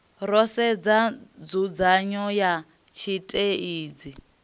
ro sedza nzudzanyo ya tshiteidzhi